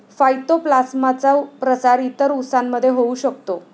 फाय्तोप्लासामचा प्रसार इतर उसांमध्ये होऊ शकतो.